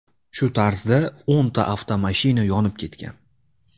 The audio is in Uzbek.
Shu tarzda o‘nta avtomashina yonib ketgan.